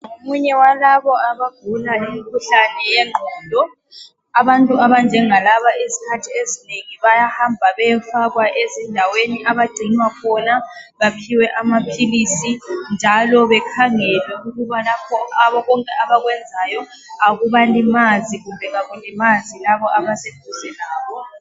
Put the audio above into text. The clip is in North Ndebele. Ngomunye walabo abagula umkhuhlane yengqondo, abantu abanjengalaba izikhathi ezinengi bayahamba beyefakwa ezindaweni abagcinwa khona, baphiwe amaphilizi njalo bekhangelwe ukuba konke abakwenzayo akubalimanzi, kumbe akulimazi labo abase duze labo.